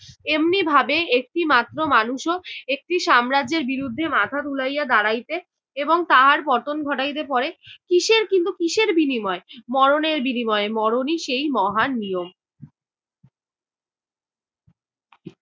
এমনিভাবে একটি মাত্র মানুষও একটি সাম্রাজ্যের বিরুদ্ধে মাথা তুলাইয়া দাঁড়াইতে এবং তাহার পতন ঘটাইতে পরে, কিসের কিন্তু কিসের বিনিময়ে? মরণের বিনিময়ে, মরণই সেই মহান নিয়ম।